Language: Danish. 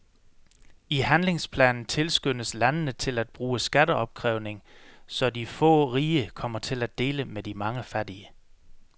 I handlingsplanen tilskyndes landene til at bruge skatteopkrævning, så de få rige kommer til at dele med de mange fattige.